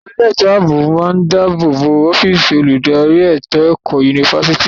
Àwọn elétò ààbò máa ń dàbò bo ọ́físì olùdarí ètò ẹ̀kọ́ yunifásítì náà.